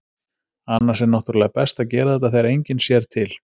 Annars er náttúrulega best að gera þetta þegar enginn sér til.